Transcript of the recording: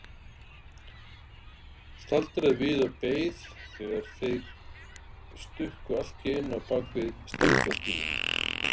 Staldraði við og beið þegar þeir stukku allt í einu á bak við strætóskýli.